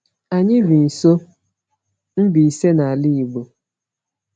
Anyị bi nso Mbaise, n’ala Igbo.